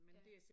Ja